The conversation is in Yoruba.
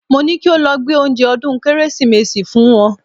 Mo ní kí o lọ gbé oúnjẹ ọdún Kérésìmesì fún wọn